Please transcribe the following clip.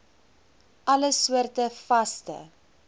alle soorte vaste